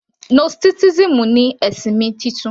Gnosticism ni ẹ̀sìn mi titun